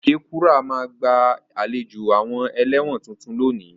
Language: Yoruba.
Okekura ma gba àlejò àwon eléwòn tuntun lónìí